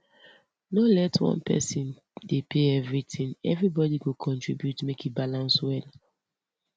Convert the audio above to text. no let one person dey pay everything everybody go contribute make e balance well